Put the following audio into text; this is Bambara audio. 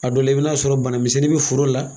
A do la i bɛn'a sɔrɔ bana misɛnnin be foro la.